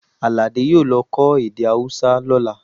Àlàdé yóò lọ kọ́ èdè Hausa lọ́la